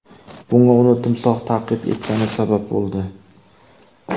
Bunga uni timsoh ta’qib etgani sabab bo‘ldi.